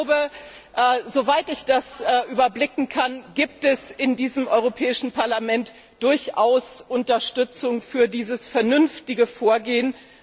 Ich glaube, soweit ich das überblicken kann, gibt es in diesem Europäischen Parlament durchaus Unterstützung für dieses vernünftige Vorgehen.